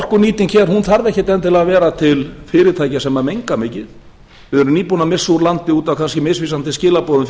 orkunýting þarf ekkert endilega að vera til fyrirtækja sem menga mikið við erum nýbúin að missa úr landi út af kannski misvísandi skilaboðum